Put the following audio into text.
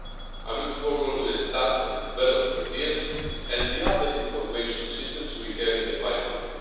I am looking forward to the start of the development of ETIAS and the other information systems we have in the pipeline.